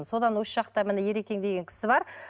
содан осы жақта міне ерекең деген кісі бар